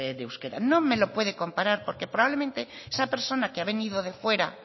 de euskera no me lo puede comparar porque probablemente esa persona que ha venido de fuera